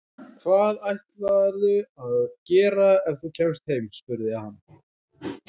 Hvað ætlarðu að gera ef þú kemst heim? spurði hann.